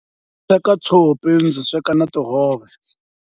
Teka tshopi ndzi sweka na tihove.